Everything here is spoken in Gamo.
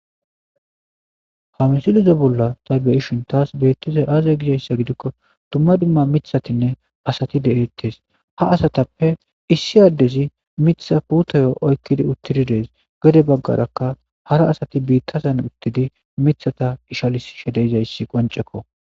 ha misilizo bolla ta beyishin taas beettizay aaza gizayssa gidikko dumma dimma mithatinne asati derittes ha asatappe issi addezi mitha puutoyo oykkidi uttididees gode baggarakka hara asati biittasan uttidi mithata ishalis shedeyzayssi qoncekko